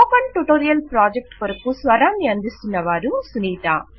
spoken tutorial project కొరకు స్వరాన్ని అందిస్తున్నవారు సునీత